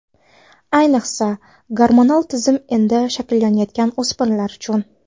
Ayniqsa gormonal tizim endi shakllanayotgan o‘smirlar uchun.